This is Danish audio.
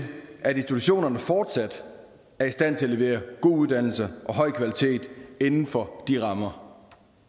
at institutionerne fortsat er i stand til at levere god uddannelse og høj kvalitet inden for de rammer